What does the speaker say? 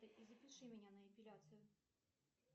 и запиши меня на эпиляцию